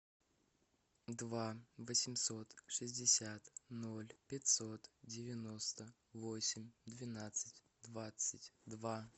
два восемьсот шестьдесят ноль пятьсот девяносто восемь двенадцать двадцать два